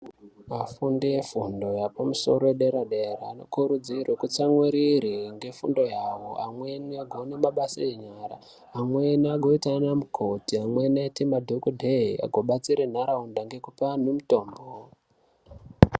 Vafundi vefundo yepamusoro dera dera anokurudzirwe kutsamwirire ngefundo yawo amweni agone mabasa enyara amweni agoita ana mukoti amweni aite madhokodheya agobatsire nharaunda ngekupe antu mutombo.